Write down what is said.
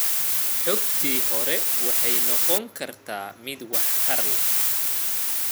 Xogtii hore waxay noqon kartaa mid waxtar leh.